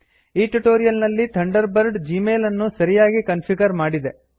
ಈ ಟ್ಯುಟೋರಿಯಲ್ ನಲ್ಲಿ Thunderbird Gmail ಅನ್ನು ಸರಿಯಾಗಿ ಕನ್ಫಿಗರ್ ಮಾಡಿದೆ